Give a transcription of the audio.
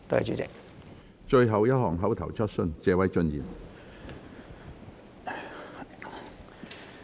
最後一項口頭質詢。